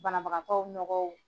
Banabagatɔww nɔgɔw